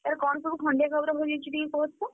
ତାର କଣ ସବୁ ଖଣ୍ଡିଆ ଖାବରା ହୋଇଯାଇଛି ଟିକେ କୁହ ତ,